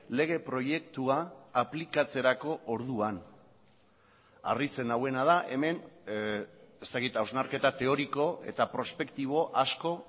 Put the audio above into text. lege proiektua aplikatzerako orduan harritzen nauena da hemen ez dakit hausnarketa teoriko eta prospektibo asko